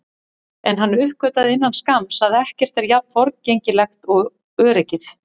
En hann uppgötvaði innan skamms að ekkert er jafn forgengilegt og öryggið.